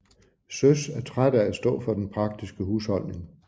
Søs er træt af at stå for de praktiske husholdning